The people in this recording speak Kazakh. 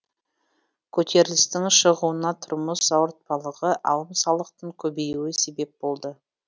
көтерілістің шығуына тұрмыс ауыртпалығы алым салықтың көбеюі себеп болды